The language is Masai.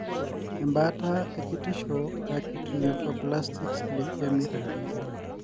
embaata ekitisho e Acute lymphoblastic e leukemia.